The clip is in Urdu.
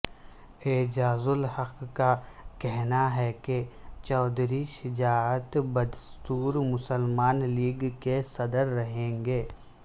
اعجازالحق کا کہنا ہے کہ چوہدری شجاعت بدستور مسلم لیگ کے صدر رہیں گے